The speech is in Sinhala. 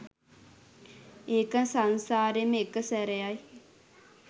ඒක සංසාරෙම එක සැරයයි